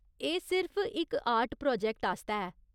एह् सिर्फ इक आर्ट प्रोजैक्ट आस्तै ऐ।